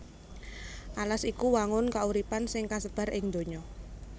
Alas iku wangun kauripan sing kasebar ing donya